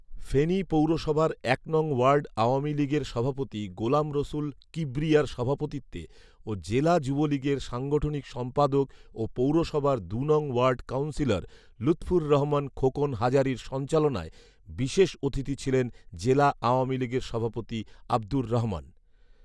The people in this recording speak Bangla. ফেনী পৌরসভার এক নং ওয়ার্ড আওয়ামী লীগের সভাপতি গোলাম রসুল কিবরিয়ার সভাপতিত্বে ও জেলা যুবলীগের সাংগঠনিক সম্পাদক ও পৌরসভার দু নং ওয়ার্ড কাউন্সিলর লুৎফুর রহমান খোকন হাজারীর সঞ্চালনায় বিশেষ অতিথি ছিলেন জেলা আওয়ামী লীগের সভাপতি আবদুর রহমান